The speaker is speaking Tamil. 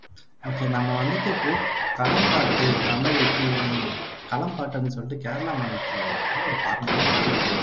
ஒகே நம்ம வந்துட்டு இப்போ களம்பாட்டு தமிழ் களம்பாட்டு அப்படின்னு சொல்லிட்டு கேரள மாநிலத்துல இருக்குற ஒரு கலை